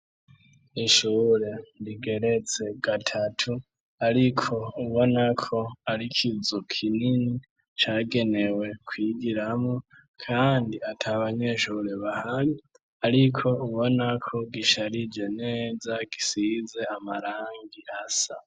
Ishure rigeretse gatatu ariko ubonako arikizu kinini cagenewe kwigiramo kandi at'abanyeshure bahari ariko ubonako gisharije neza gisize amarangi asa.